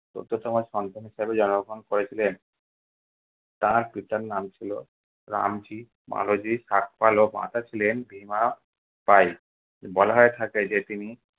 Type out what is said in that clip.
চোদ্দতম সন্তান হিসাবে জন্মগ্রহণ করেছিলেন। তার পিতার নাম ছিল রামজি মালোজী সাকপাল ও মাতা ছিলেন ভীমা বাই। বলা হয়ে থাকে যে তিনি